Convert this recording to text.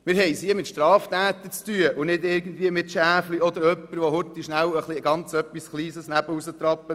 Wir haben es hier mit Straftätern zu tun und nicht mit Schäfchen oder mit jemandem, der rasch einmal ein bisschen daneben tritt.